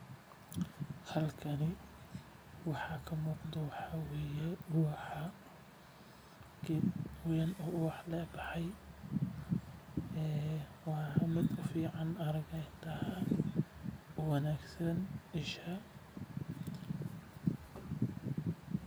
Halkani waxaa ka muuqdo waxaa waye geed weyn oo ubax leh oo baxay waa mid ufican araga indaha oo wanagsan.